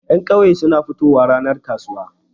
Ƴan ƙauye suna fitowa ranar kasuwa.